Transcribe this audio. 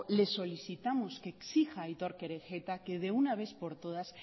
le solicitamos que exija a aitor kerejeta que de una vez por todas